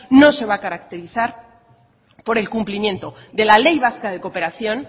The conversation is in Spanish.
no se va a caracterizar por el cumplimiento de la ley vasca de cooperación